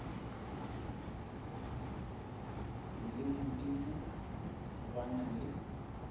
le modimo ba na le